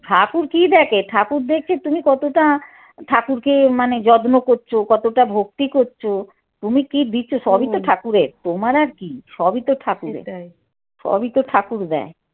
ঠাকুর কী দেখে ঠাকুর দেখে তুমি কতটা ঠাকুরকে মানে যত্ন করছ কতটা ভক্তি করছ তুমি কী দিচ্ছ সবই তো ঠাকুরের তোমার আর কী সবই তো ঠাকুরের সবই তো ঠাকুর দেয়।